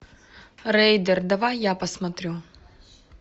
рейдер давай я посмотрю